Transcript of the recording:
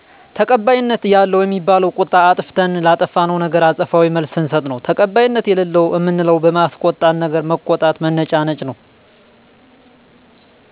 ተቀባይነት ያለው እሚባለው ቁጣ አጥፋተተን ላጠፋነው ነገር አጸፋዊ መልስ ስንስጥ ነው ተቀባይነት የለለው እምንለው በማያስቆጣነገር መቆጣት መነጫነጭ ነው